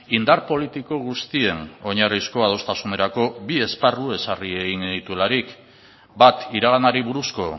indar politiko guztien oinarrizko adostasunerako bi esparru ezarri egin genituelarik bat iraganari buruzko